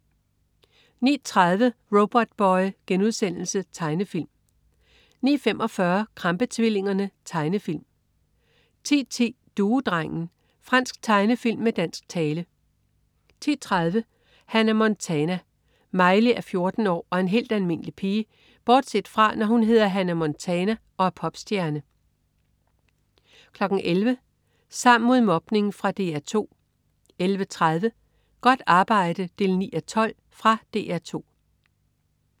09.30 Robotboy.* Tegnefilm 09.45 Krampe-tvillingerne. Tegnefilm 10.10 Duedrengen. Fransk tegnefilm med dansk tale 10.30 Hannah Montana. Miley er 14 år og en helt almindelig pige bortset fra, når hun hedder Hannah Montana og er popstjerne 11.00 Sammen mod mobning. Fra DR 2 11.30 Godt arbejde 9:12. Fra DR 2